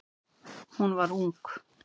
Hún var ung.